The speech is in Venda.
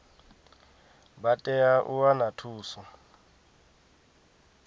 vha tea u wana thuso